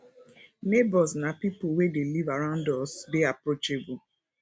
neigbours na pipo wey dey live around us dey approachable